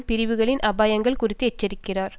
பிரிவுகளின் அபாயங்கள் குறித்தும் எச்சரிக்கிறார்